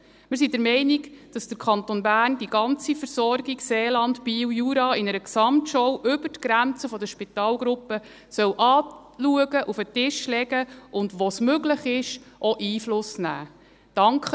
Wir sind der Meinung, dass der Kanton Bern die ganze Versorgung Seeland, Biel, Jura in einer Gesamtschau über die Grenzen der Spitalgruppen anschauen, auf den Tisch legen und, wo es möglich ist, auch Einfluss nehmen soll.